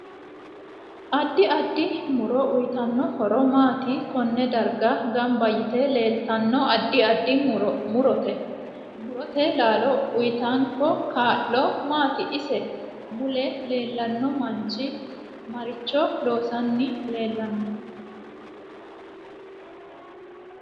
Addi addi muro uyiitanno horo maati konne darga ganba yite leeltanno addi addi morote laalo uyiitanko kaa'lo maati ise mule leelanno manchi maricho loosani leelanno